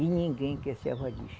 E ninguém quer ser avalista.